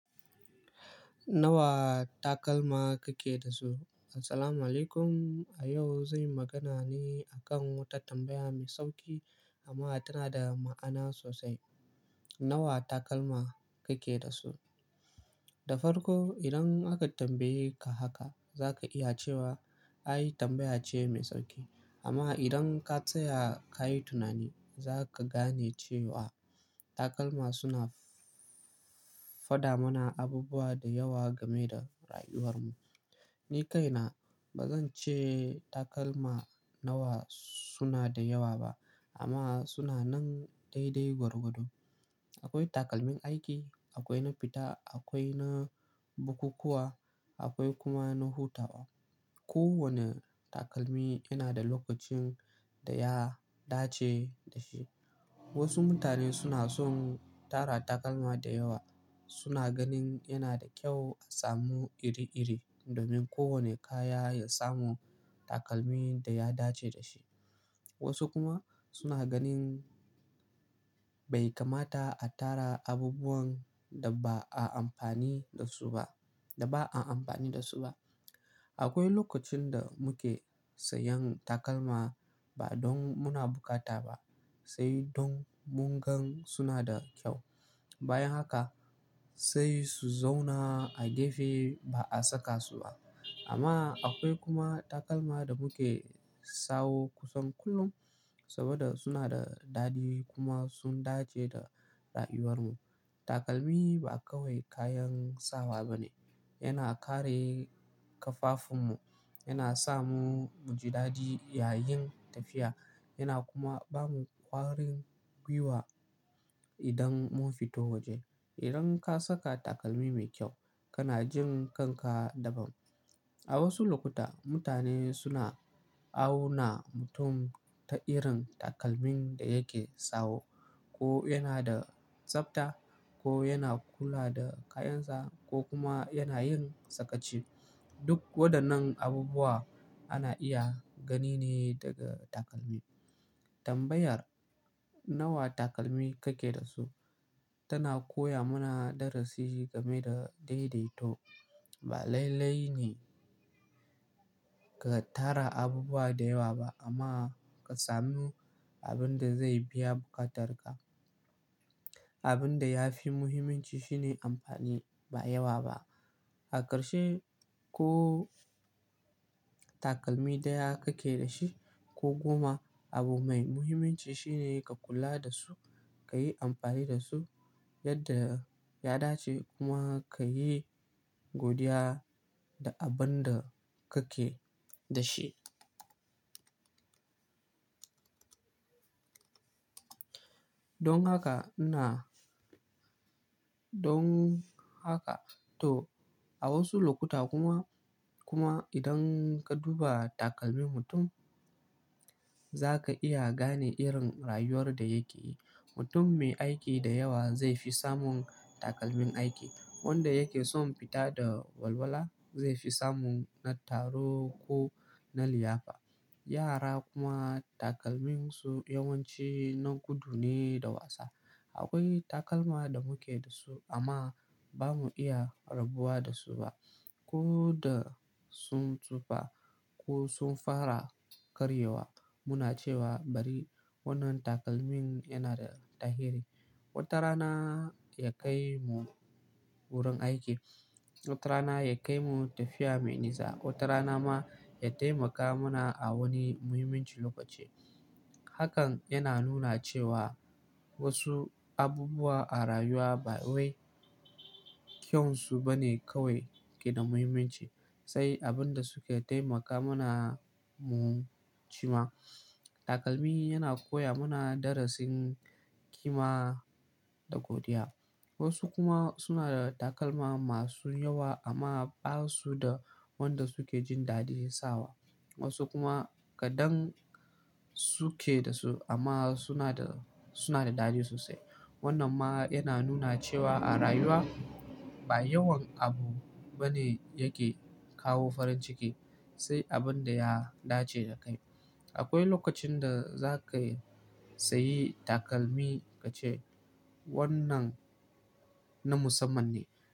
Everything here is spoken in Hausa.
Nawa takalma kake da su? Assalamualaikum. A yau, zai magana ne a kan wata tambaya mai sauƙi amma tana da ma'ana sosai. Nawa takalma kake da su? Da farko, idan aka tambaye ka haka, za ka iya cewa ai tambaya ce mai sauƙi. Amma idan ka tsaya ka yi tunani, za ka gane cewa takalma suna faɗa mana abubuwa da yawa game da rayuwar mu. Ni kaina ba zan ce takalma nawa suna da yawa ba amma suna nan daidai gwargwado. Akwai takalmin aiki, akwai na fita, akwai na bukukkuwa, akwai kuma na hutawa. Kowane takalmi yana da lokacin da ya dace da shi. Wasu mutane suna son tara takalma da yawa. Suna ganin yana da kyau a samu iri-iri domin kowane kaya ya samu takalmi da ya dace da shi. Wasu kuma suna ganin bai kamata a tara abubuwan da ba a amfani da su ba, da ba a amfani da su ba. Akwai lokacin da muke sayan takalma ba don muna bukata ba, sai don mungan suna da kyau. Bayan haka sai su zauna a gefe ba a saka su ba. Amma akwai kuma takalma da muke sawo kusan kullum saboda suna da daɗi kuma sun dace da rayuwar mu. Takalmi ba kawai kayan sawa ba ne. Yana kare ƙafafun mu, yana sa mu muji daɗi yayin tafiya. Yana kuma ba mu ƙwarin gwiwa idan mun fito waje. Idan ka saka takalmi mai kyau, kana jin kanka daban. A wasu lokuta, mutane suna auna mutum ta irin takalmin da yake sawo. Ko yana da tsabta ko yana kula da kayansa ko kuma yana yin sakaci. Duk waɗannan abubuwa ana iya gani ne daga takalmi. Tambayar nawa takalmi kake da su tana koya mana darasi game da daidaito. Ba laile ne ka tara abubuwa da yawa ba amma ka samu abin da zai biya bukatarka. Abin da ya fi muhimmanci shine amfani ba yawa ba. Aƙarshe ko takalmi daya kake da shi ko goma, abu mai muhimmanci shine ka kula da su, ka yi amfani da su yadda ya dace kuma ka yi godiya da abin da kake da shi. Don haka ina-- don haka to a wasu lokuta kuma, kuma idan ka duba takalmin mutum, za ka iya gane irin rayuwar da yake yi. Mutum mai aiki da yawa zai fi samun takalmin aiki. Wanda yake son fita da walwala zai fi samun na taro ko na liyafa. Yara kuma takalminsu yawanci na gudu ne da wasa. Akwai takalma da muke da su amma ba mu iya rabuwa da su ba. Ko da sun tsufa ko sun fara karyewa, muna cewa bari wannan takalmin yana da tahiri. Wata rana ya kai mu wurin aiki. Wata rana ya kai mu tafiya mai nisa. Wata rana ma ya taimaka mana a wani muhimmin lokaci. Hakan yana nuna cewa wasu abubuwa a rayuwa ba wai kyansu ba ne kawai ke da muhimmanci, sai abin da suke taimaka mana mu ci ma. Takalmi yana koya mana darasin kima da godiya. Wasu kuma suna da takalma masu yawa amma ba su da wanda suke jin daɗin sawa. Wasu kuma kaɗan suke da su amma suna da, suna da daɗi sosai. Wannan ma yana nuna cewa a rayuwa ba yawan abu ba ne yake kawo farin ciki, sai abin da ya dace da kai. Akwai lokacin da za ka yi sayi takalmi ka ce wannan na musamman ne.